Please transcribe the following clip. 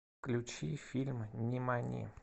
включи фильм нимани